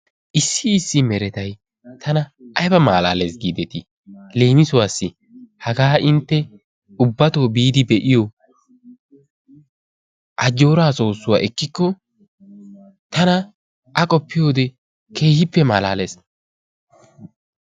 Issi issi meretay tana aybba malaalees giideti leemissuwaassi hagaa intte ubbatto biidi be'iyo ajjooraa soossuwa ekkikko tana a qoppiyode keehippe malaalees.